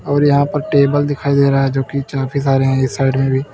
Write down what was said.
और यहां पर टेबल दिखाई दे रहा है जो की काफी सारे हैं इस साइड में भी।